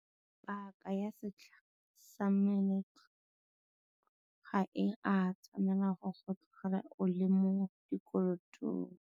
Paaka ya setlha sa meletlo ga e a tshwanela go go tlogela o le mo dikolotong.